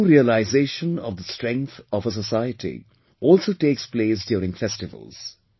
The true realisation of the strength of a society also takes place during festivals